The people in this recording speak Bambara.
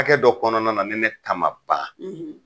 Hakɛ dɔ kɔnɔna na ni ne ta ma ban,